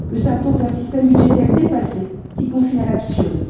Le symptôme d'un système budgétaire dépassé qui confine à l'absurde.